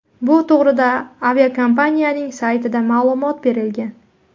Bu to‘g‘rida aviakompaniyaning saytida ma’lumot berilgan .